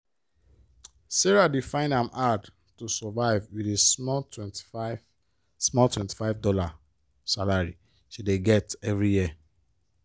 sarah dey find am hard to survive with di small 25 small 25 dollar salary she dey get every year.